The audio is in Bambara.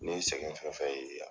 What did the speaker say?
Ne ye sɛgɛn fɛnfɛn ye yan